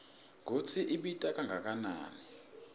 kutsi ibita kangakanani